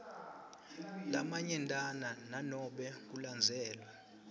lamanyentana nanobe kulandzelwe